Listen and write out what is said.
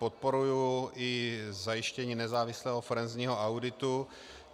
Podporuji i zajištění nezávislého forenzního auditu.